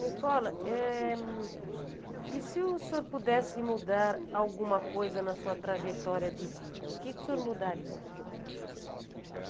Nicola, Eh... E se o senhor pudesse mudar alguma coisa na sua trajetória de vida, o que o senhor mudaria?